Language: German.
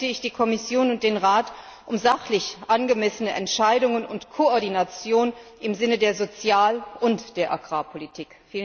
Deshalb bitte ich Kommission und Rat um sachlich angemessene Entscheidungen und Koordination im Sinne der Sozial und der Agrarpolitik.